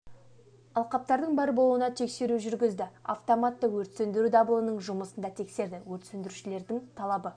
алқаптардың бар болуына тексеру жүргізді автоматты өрт сөндіру дабылының жұмысын да тексерді өрт сөндірушілердің талабы